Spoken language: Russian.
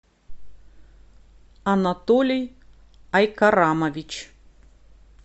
анатолий айкарамович